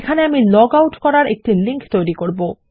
এখানে আমি log out করার একটি লিংক তৈরী করব